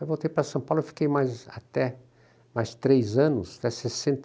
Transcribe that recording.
Aí voltei para São Paulo e fiquei mais até, mais três anos, até sessenta e